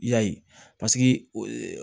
Yali paseke